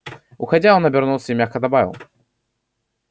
уходя он обернулся и мягко добавил